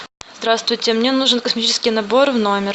здравствуйте мне нужен косметический набор в номер